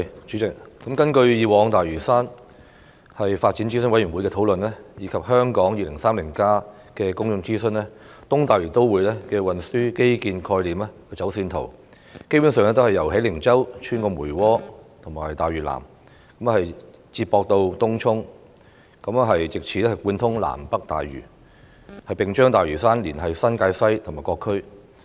主席，根據大嶼山發展諮詢委員會過往所作的討論，以及有關《香港 2030+》的公眾諮詢，東大嶼都會的運輸基建概念和走線圖，基本上是由喜靈洲穿過梅窩和大嶼南，再接駁至東涌，藉以貫通南北大嶼，並將大嶼山連繫至新界西和各區。